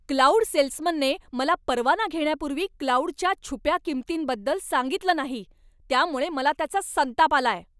Cloud सेल्समनने मला परवाना घेण्यापूर्वी क्लाउडच्या छुप्या किंमतींबद्दल सांगितलं नाही, त्यामुळे मला त्याचा संताप आलाय.